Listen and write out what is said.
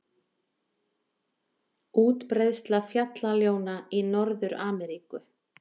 Útbreiðsla fjallaljóna í Norður-Ameríku.